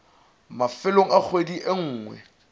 mafelong a kgwedi e nngwe